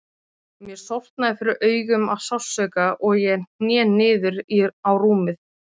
Mér sortnaði fyrir augum af sársauka og ég hné niður á rúmið.